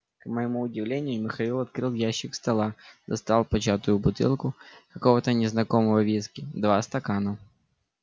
к моему удивлению михаил открыл ящик стола достал початую бутылку какого-то незнакомого виски два стакана